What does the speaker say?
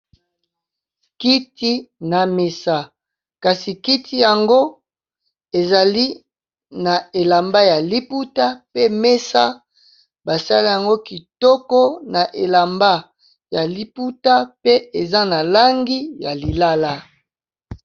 Kiti na mesa kasi kiti yango ezali na elamba ya liputa, pe mesa basala yango kitoko na elamba ya liputa pe eza na langi ya lilala.